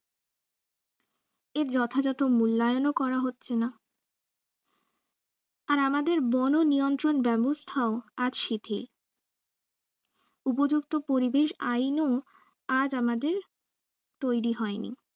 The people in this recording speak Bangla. এর যথাযথ মূল্যায়নও করা হচ্ছে না আর আমাদের বন নিয়ন্ত্রন ব্যবস্থাও আজ শিথীল উপযুক্ত পরিবেশ আইনও আজ আমাদের তৈরি হয়নি।